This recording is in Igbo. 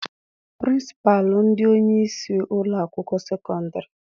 Pịrịnsịpalụ bụ onyeisi ụlọakwụkwọ sekọndịrị.